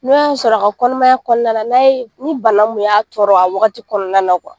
N'o y'a sɔrɔ a ka kɔnɔnamaya kɔnɔna na n'a ye ni bana kun y' a tɔrɔ a waagati kɔnɔna na